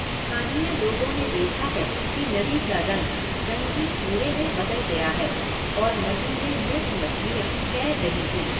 स्थानीय लोगों ने देखा है कि नदी का रंग ज़ंगी भूरे में बदल गया है और नदी में मृत मछलियाँ तैर रही थीं।